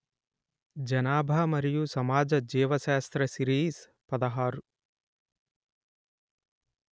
జనాభా మరియు సమాజ జీవ శాస్త్రా సిరీస్ పదహారు